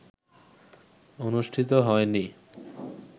অনুষ্ঠিত হয়নি